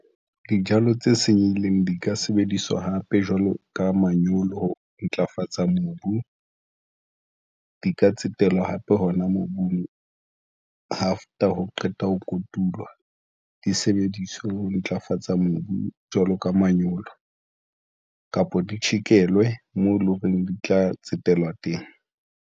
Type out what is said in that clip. Dijalo tse senyehileng di ka sebediswa hape jwalo ka manyolo ho ntlafatsa mobu di ka tsetelwa hape hona mobung after ho qetwa ho kotulwa di sebediswa ho ntlafatsa mobu jwalo ka manyolo kapa di tjhekelwe, moo e leng hore di tla tsetelwa teng.